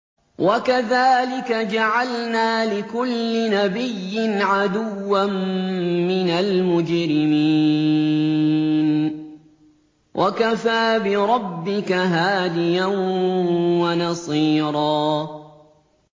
وَكَذَٰلِكَ جَعَلْنَا لِكُلِّ نَبِيٍّ عَدُوًّا مِّنَ الْمُجْرِمِينَ ۗ وَكَفَىٰ بِرَبِّكَ هَادِيًا وَنَصِيرًا